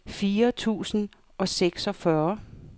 fire tusind og seksogfyrre